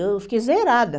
Eu fiquei zerada.